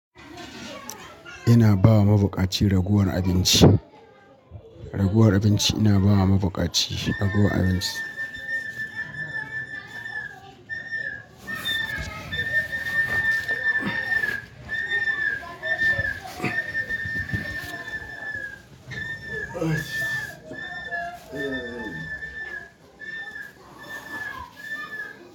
Ina bawa mabuƙaci ragowar abinci. Raguwar abinci ina bawa mabukaci raguwar abinci.